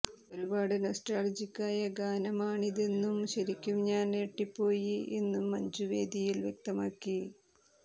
ഒരുപാട് നൊസ്റ്റാൾജിക് ആയ ഗാനമാണിതെന്നും ശരിക്കും ഞാൻ ഞെട്ടിപ്പോയി എന്നും മഞ്ജു വേദിയിൽ വ്യക്തമാക്കി